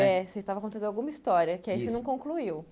É, você estava contando alguma história que aí você não concluiu.